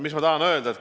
Mis ma tahan öelda?